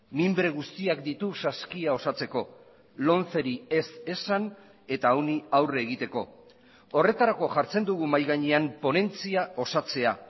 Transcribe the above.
minbre guztiak ditu saskia osatzeko lomceri ez esan eta honi aurre egiteko horretarako jartzen dugu mahai gainean ponentzia osatzea